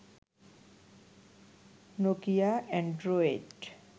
Nokia Android